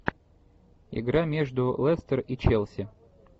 игра между лестер и челси